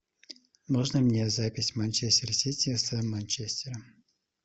можно мне запись манчестер сити с манчестером